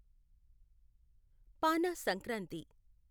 పానా Sankranti